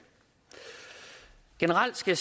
generelt skal